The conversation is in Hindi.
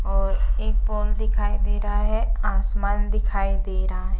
और एक पोल दिखाई दे रहा है। आसमान दिखाई दे रहा है।